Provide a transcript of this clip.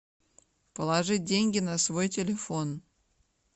положить деньги на свой телефон